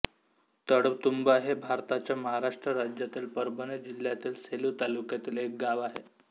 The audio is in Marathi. तळतुंबा हे भारताच्या महाराष्ट्र राज्यातील परभणी जिल्ह्यातील सेलू तालुक्यातील एक गाव आहे